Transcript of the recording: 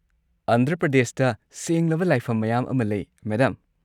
ꯑꯟꯙ꯭ꯔ ꯄ꯭ꯔꯗꯦꯁꯇ ꯁꯦꯡꯂꯕ ꯂꯥꯏꯐꯝ ꯃꯌꯥꯝ ꯑꯃ ꯂꯩ, ꯃꯦꯗꯝ꯫